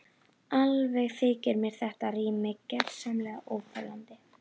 Alveg þykir mér þetta rými gersamlega óþolandi.